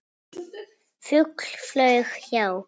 Fugl flaug hjá.